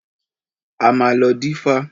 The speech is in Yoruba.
A máa lọ dífá.